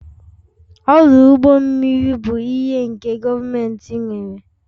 Ọdụ ụgbọ mmiri bụ ihe nke gọọmentị nwere